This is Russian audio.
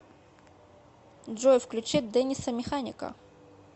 джой включи дэниса механика